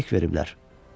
Ona tiryək veriblər.